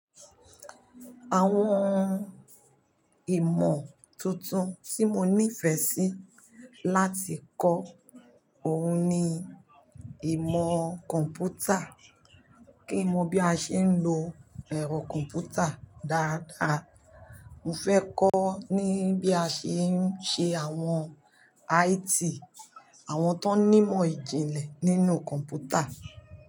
Àwọn ìmọ̀ tuntun tí mo nífẹ̀ẹ́ sí láti kọ́ òun ni ìmọ̀ kọ̀m̀pútà, kí n mo bí a ṣe ń lo ẹ̀rọ kọ̀m̀pútà dáadáa. Mo fẹ́ kọ́ ní bí a ṣe ń ṣe àwọn IT, àwọn tó n nímọ̀ ìjìnlẹ̀ nínú kọ̀m̀pútà.